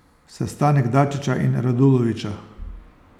Sestanek Dačića in Radulovića.